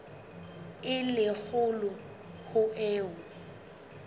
e le kgolo ho eo